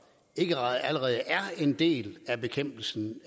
ikke allerede er en del af bekæmpelsen